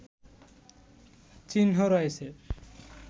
চিহ্ন রয়েছে